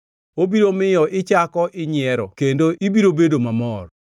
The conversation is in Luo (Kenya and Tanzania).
Obiro miyo ichako inyiero kendo ibiro bedo mamor.